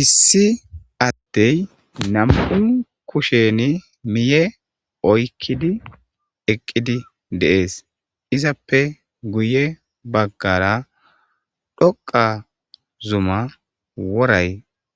Issi addey nam'un kusheni miye oykkidi eqqidi deees izappe guye baggara dhoqa zuma woray